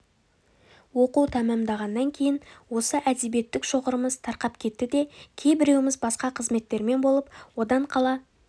оқу тәмамдағаннан кейін осы әдебиеттік шоғырымыз тарқап кетті де кейбіреуіміз басқа қызметтермен болып одан қала